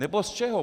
Nebo z čeho?